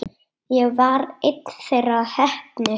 Ég var ein þeirra heppnu.